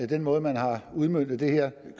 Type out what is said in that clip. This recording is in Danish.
den måde man har udmøntet det her